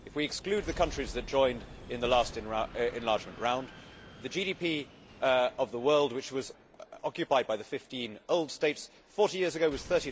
If we exclude the countries that joined in the last enlargement round, the GDP of the world which was occupied by the 15 old states 40 years ago was